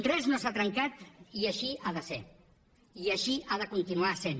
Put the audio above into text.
res no s’ha trencat i així ha de ser i així ha de continuar sent